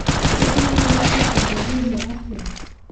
Gũkinyanĩrithia kũngĩagĩrio atĩa ?